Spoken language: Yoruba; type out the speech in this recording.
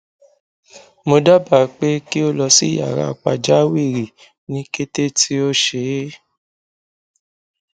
mo daba pe ki o lọ si yara pajawiri ni kete ti o ṣee